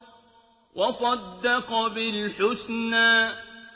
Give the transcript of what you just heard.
وَصَدَّقَ بِالْحُسْنَىٰ